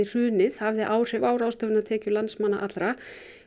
hrunið hafði áhrif á ráðstöfunartekjur landsmanna allra